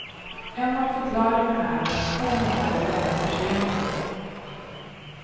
En av förklaringarna är den två månader långa förseningen.